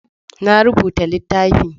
Na rubuta littafi.